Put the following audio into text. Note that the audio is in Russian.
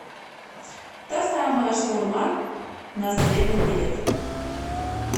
та самая шаурма на средном билет